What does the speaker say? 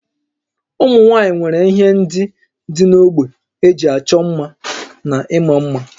Ụmụ nwaanyị nwere ihe ndị dị n'ógbè eji ịchọ mma na ịma mma